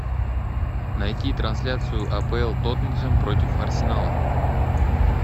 найти трансляцию апл тоттенхэм против арсенала